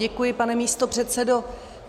Děkuji, pane místopředsedo.